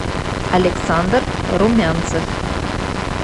александр румянцев